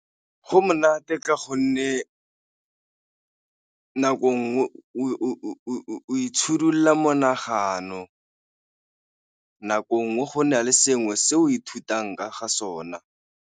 Go monate ka gonne nako nngwe monagano, nako nngwe go na le sengwe se o ithutang ka ga sona.